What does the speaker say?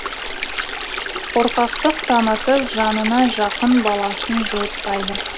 қорқақтық танытып жанына жан баласын жуытпайды